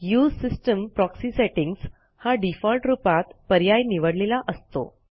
उसे system proxy settings हा default रुपात पर्याय निवडलेला असतो